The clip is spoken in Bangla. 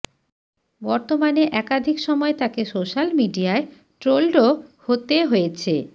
বর্তমানে একাধিক সময় তাকে সোশ্যাল মিডিয়ায় ট্রোলডও হতে হয়েছে